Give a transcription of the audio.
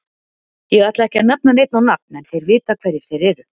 Ég ætla ekki að nefna neinn á nafn en þeir vita hverjir þeir eru.